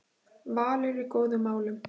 Valur í góðum málum